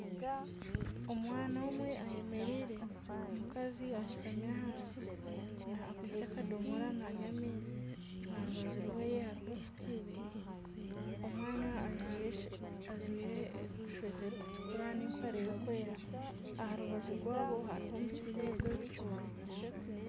Omwana omwe ayemereire omukazi ashutami ahansi akwaitse akadomora nanywa amaizi aha rubaju rwehe hariho ecupa ibiri omwana ajwaire eshweta erikutukura nana empare erikwera aha rubaju rwabo hariho omusiri gw'ebikyoori